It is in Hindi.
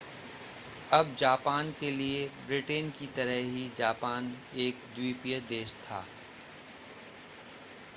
अब जापान के लिए ब्रिटेन की तरह ही जापान एक द्वीपीय देश था